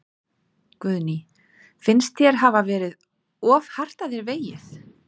Guðný: Finnst þér hafa verið of hart að þér vegið?